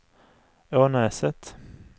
Ånäset